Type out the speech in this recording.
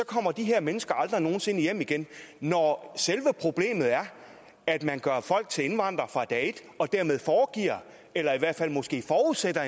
kommer de her mennesker aldrig nogen sinde hjem igen når selve problemet er at man gør folk til indvandrere fra dag et og dermed foregiver eller måske